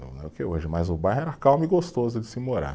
Não é o que é hoje, mas o bairro era calmo e gostoso de se morar.